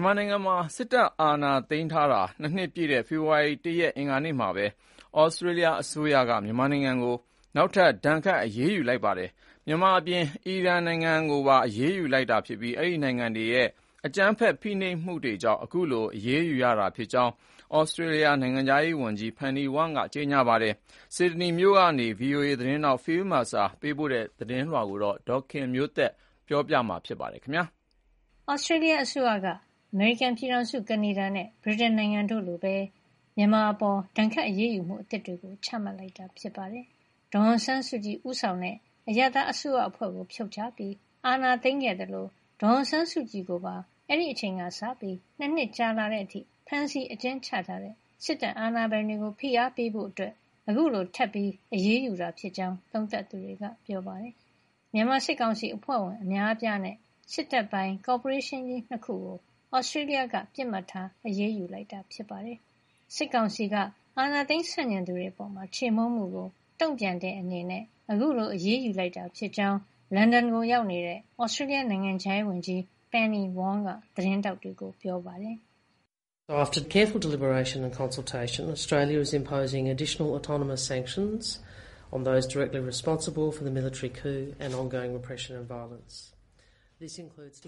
န်မာနိုင်ငံမှာ စစ်တပ်အာဏာသိမ်းတာ ၂ နှစ် ပြည့်တဲ့ ဖေဖေါ်ဝါရီ ၁ ရက် အင်္ဂါနေ့မှာပဲ Australia အစိုးရက မြန်မာကို နောက်ထပ် ဒဏ်ခတ်အရေးယူလိုက်ပါတယ်။ မြန်မာအပြင် အီရန်ကိုပါ အရေးယူလိုက်တာဖြစ်ပြီး ဒီနိုင်ငံတွေက ဖိနှိပ်မှုတွေ၊ အကြမ်းဖက်မှုတွေကြောင့် Australia အစိုးရက အခုလို အရေးယူရတာဖြစ်ကြောင်း နိုင်ငံခြားရေးဝန်ကြီး Penny Wong က ပြောပါတယ်။ ဆစ်ဒနီက VOA သတင်းထောက် Phil Mercer သတင်းပို့ထားတာကို ဒေါ်ခင်မျိုးသက်က တင်ပြပေးထားပါတယ်။ Australia အစိုးရက အမေရိကန်ပြည်ထောင်စု၊ ကနေဒါ နဲ့ ဗြိတိန်နိုင်ငံတို့လိုပဲ မြန်မာအပေါ် ဒဏ်ခတ်အရေးယူမှုအသစ်တွေ ချမှတ်လိုက်ပါတယ်။ ဒေါ်အောင်ဆန်းစုကြည် ဦးဆောင်တဲ့ အရပ်သားအစိုးရအဖွဲ့ကိုဖြုတ်ချပြီး အာဏာသိမ်းခဲ့သလို ဒေါ်အောင်ဆန်းစုကြည်ကိုပါ အဲဒီအချိန်ကစပြီး အခု ၂ နှစ်ကြာလာတဲ့အထိ ဖမ်းဆီးအကျဉ်းချထားတဲ့ စစ်တပ်အာဏာပိုင်တွေကို ဖိအားပေးဖို့ အခုလို ထပ်ပြီးအရေးယူတာဖြစ်ကြောင်း သုံးသပ်သူတွေက ပြောပါတယ်။ မြန်မာစစ်ကောင်စီ အဖွဲ့ဝင် အများအပြားနဲ့ စစ်တပ်ပိုင်ကော်ပိုရေးရှင်းကြီး ၂ ခုကို Australia က ပစ်မှတ်ထားအရေးယူတာ ဖြစ်ပါတယ်။ စစ်ကောင်စီက အာဏာသိမ်းဆန့်ကျင်သူတွေအပေါ် ခြေမှုန်းမှုကို တုံ့ပြန်တဲ့အနေနဲ့ အခုလို အရေးယူလိုက်တာဖြစ်ကြောင်း လန်ဒန်ကိုရောက်နေတဲ့ Australia နိုင်ငံခြားရေးဝန်ကြီး Penny Wong က သတင်းထောက်တွေကို ပြောပါတယ်။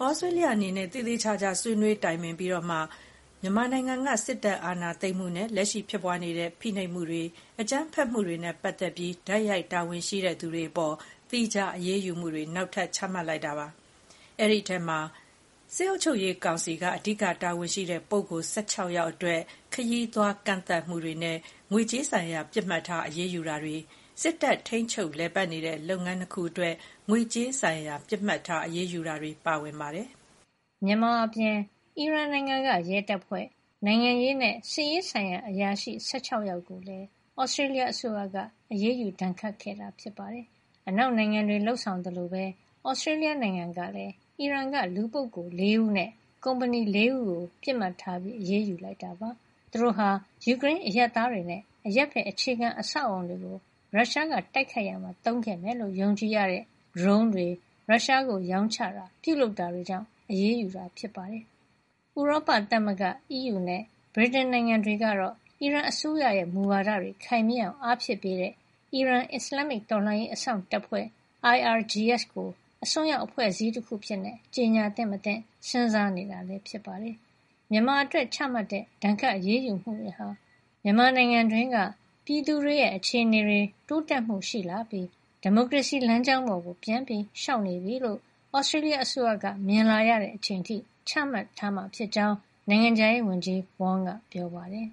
“Australia အနေနဲ့သေသေချာချာ ဆွေးနွေးတိုင်ပင်ပြီးမှ မြန်မာနိုင်ငံက စစ်တပ်အာဏာသိမ်းမှုနဲ့ လက်ရှိဖြစ်ပွါးနေတဲ့ဖိနှိပ်မှုတွေ၊ အကြမ်းဖက်မှုတွေနဲ့ပတ်သက်ပြီး တိုက်ရိုက်တာဝန်ရှိတဲ့သူတွေအပေါ် သီးခြားအရေးယူမှုတွေ နောက်ထပ် ချမှတ်လိုက်တာ ဖြစ်ပါတယ်။ ဒီအထဲမှာ စစ်အုပ်ချုပ်ရေးကောင်စီက အဓိကတာဝန်ရှိတဲ့ပုဂ္ဂိုလ် ၁၆ ယောက် အတွက် ခရီးသွားကန့်သတ်မှုတွေနဲ့ ငွေကြေးဆိုင်ရာပစ်မှတ်ထားအရေးယူတာတွေ၊ စစ်တပ်ထိန်းချုပ်လည်ပတ်နေတဲ့ လုပ်ငန်း ၂ ခုအတွက် ငွေကြေးဆိုင်ရာ ပစ်မှတ်ထားအရေးယူမှုတွေ ပါဝင်ပါတယ်။” မြန်မာအပြင် အီရန်နိုင်ငံက ရဲတပ်ဖွဲ့၊ နိုင်ငံရေးနဲ့ စစ်ရေးဆိုင်ရာအရာရှိ ၁၆ ယောက် ကိုလည်း Australia အစိုးရက အရေးယူ ဒဏ်ခတ်ခဲ့တာ ဖြစ်ပါတယ်။ အနောက်နိုင်ငံတွေ လုပ်ဆောင်သလိုပဲ Australia နိုင်ငံကလည်း အီရန်ကလူပုဂ္ဂိုလ် ၄ ဦးနဲ့ ကုမ္ပဏီ ၄ ခုကို ပစ်မှတ်ထား အရေးယူခဲ့ပါတယ်။ သူတို့ဟာ ယူကရိန်းအရပ်သားတွေနဲ့ အရပ်ဘက် အခြေခံအဆောက်အအုံတွေကို ရုရှားကတိုက်ခိုက်ရာမှာသုံးခဲ့မယ်လို့ ယုံကြည်ရတဲ့ဒရုန်းမျိုးတွေ ရုရှားကိုရောင်းချတာ၊ ပြုလုပ်တာတွေကြောင့် အရေးယူတာ ဖြစ်ပါတယ်။ ဥရောပသမဂ္ဂ အီးယူနဲ့ ဗြိတိန်နိုင်ငံတွေကတော့ အီရန်အစိုးရရဲ့မူဝါဒတွေခိုင်မာအောင် အားဖြည့်ပေးတဲ့ အီရန် အစ္စလာမ်မစ် တော်လှန်ရေး အစောင့်တပ်ဖွဲ့ IRGS ကို အစွန်းရောက်အဖွဲ့ အစည်းတခုအဖြစ် ကြေညာသင့်မသင့် စဉ်းစားနေတာ ဖြစ်ပါတယ်။ မြန်မာအတွက်ချမှတ်တဲ့ ဒဏ်ခတ်အရေးယူမှုတွေဟာ မြန်မာနိုင်ငံတွင်းက ပြည်သူတွေရဲ့ အခြေနေတွေ တိုးတက်မှုရှိလာပြီး ဒီမိုကရေစီလမ်းကြောင်းပေါ် ပြန်လျှောက်နေပြီလို့ Australia အစိုးရက မြင်လာရချိန်အထိ ချမှတ်ထားမှာဖြစ်ကြောင်း နိုင်ငံခြားရေးဝန်ကြီး Wong ကပြောပါတယ်။